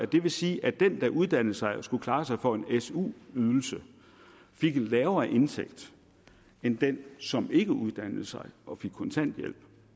det vil sige at den der uddannede sig skulle klare sig for en su ydelse og fik en lavere indtægt end den som ikke uddannede sig og fik kontanthjælp